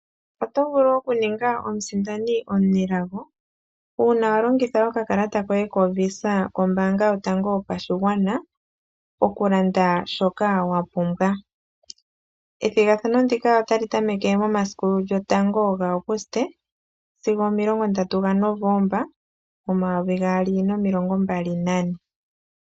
Otovulu okuninga omusindani omunelago uuna walingitha okakalata koye koVISA kombaanga yotango yopashigwana okulanda shoka wapumbwa, ethigathano ndika otali tameke momasiku 01 lyaAgusite sigo omomilongo 30 ga Novoomba 2024.